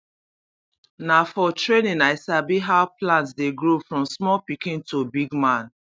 na for training i sabi how plant dey grow from small pikin to big man